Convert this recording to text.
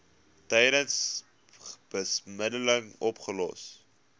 tydens bemiddeling opgelos